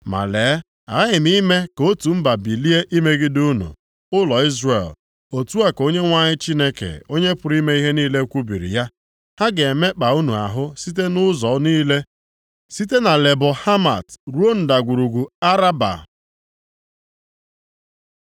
“Ma lee, aghaghị m ime ka otu mba bilie imegide unu, ụlọ Izrel,” otu a ka Onyenwe anyị Chineke Onye pụrụ ime ihe niile kwubiri ya. “Ha ga-emekpa unu ahụ site nʼụzọ niile site na Lebo Hamat ruo ndagwurugwu Araba.”